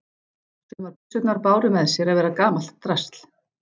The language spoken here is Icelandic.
Sumar byssurnar báru með sér að vera gamalt drasl.